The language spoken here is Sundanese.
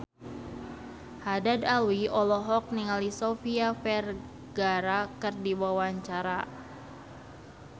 Haddad Alwi olohok ningali Sofia Vergara keur diwawancara